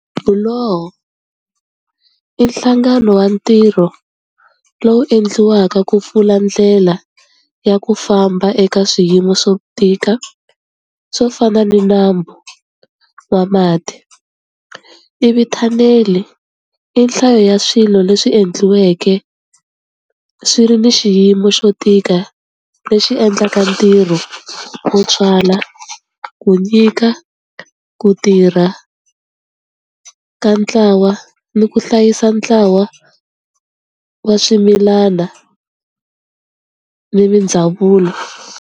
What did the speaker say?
Buloho i nhlangano wa ntirho lowu endliwaka ku pfula ndlela ya ku famba eka swiyimo swo tika swo fana ni nambu wa mati, ivi thanele i nhlayo ya swilo leswi endliweke swi ri ni xiyimo xo tika lexi endlaka ntirho wu tswala ku nyika ku tirha ka ntlawa ni ku hlayisa ntlawa wa swimilana ni mindzhavulo.